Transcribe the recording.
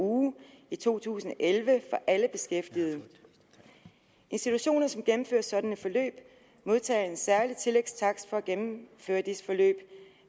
uge i to tusind og elleve for alle beskæftigede institutioner som gennemfører sådan et forløb modtager en særlig tillægstakst for at gennemføre disse forløb